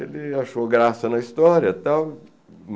Ele achou graça na história e tal.